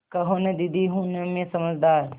कहो न दीदी हूँ न मैं समझदार